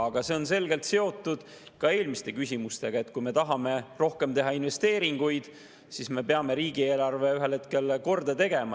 Aga see on selgelt seotud ka eelmiste küsimustega: kui me tahame teha rohkem investeeringuid, siis me peame riigieelarve ühel hetkel korda tegema.